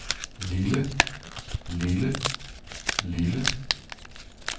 lille lille lille